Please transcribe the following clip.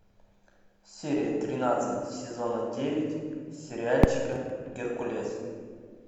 серия тринадцать сезона девять сериальчика геркулес